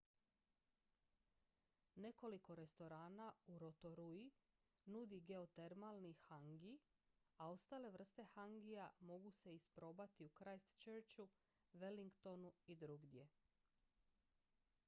nekoliko restorana u rotorui nudi geotermalni hangi a ostale vrste hangija mogu se isprobati u christchurchu wellingtonu i drugdje